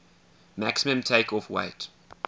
maximum takeoff weight